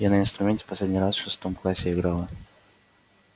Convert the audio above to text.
я на инструменте последний раз в шестом классе играла